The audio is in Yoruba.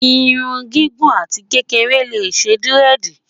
irún gígùn àti kékeré lé ṣé diredi